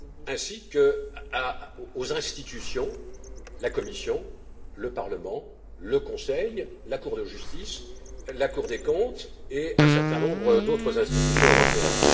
ainsi qu'aux institutions la Commission, le Parlement, le Conseil, la Cour de justice, la Cour des comptes et un certain nombre d'autres institutions européennes.